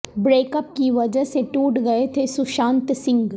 break up کی وجہ سے ٹوٹ گئے تھے سشانت سنگھ